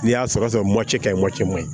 N'i y'a sɔrɔ ka ɲi maɲi